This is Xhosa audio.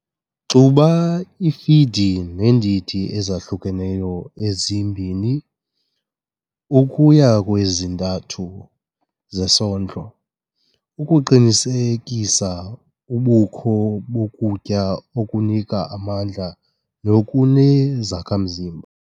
Xuba ifidi neendidi ezahlukeneyo ezi-2 ukuya kwezi-3 zesondlo ukuqinisekisa ubukho bokutya okunika amandla nokunezakhamzimba.